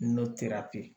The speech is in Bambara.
N'o terapi ye